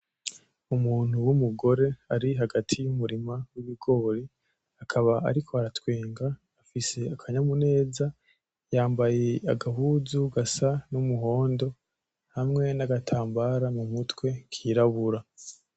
Umuntu w'umugore ari hagati u’umurima w'ibigori akaba ariko aratwenga ,afise akanyamuneza. Yambaye agahuzu gasa n’umuhondo hamwe n’agatambara mumutwe kirabura.